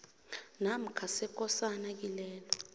namkha sekosana kilelo